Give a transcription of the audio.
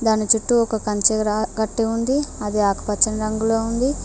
దాని చుట్టూ ఒక కంచిర కట్టి ఉంది అది ఆకుపచ్చ రంగులో ఉంది.